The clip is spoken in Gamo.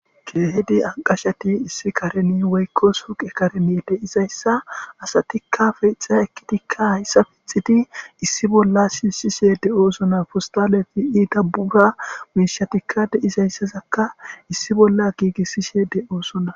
keehidi anqashati issi kareni weykkos uqe kareni de izayssa asatikka feyxa ekkitikka hayssa pixiti issi bolla sinsishe de7oosona fostaleti ii dabura miishatikka deizayssazakka issi bolla giigissishe de7oosona